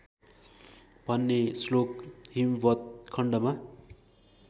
भन्ने श्लोक हिमवत्खण्डमा